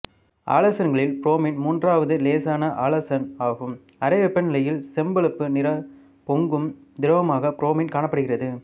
ஆலசன்களில் bromine மூன்றாவது இலேசான ஆலசன் ஆகும் அறை வெப்பநிலையில் செம்பழுப்பு நிற பொங்கும் திரவமாக புரோமின் காணப்படுகிறது